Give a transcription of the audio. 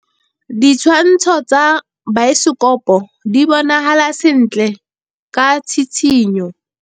Ditshwantshô tsa biosekopo di bonagala sentle ka tshitshinyô.